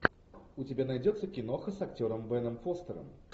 у тебя найдется киноха с актером беном фостером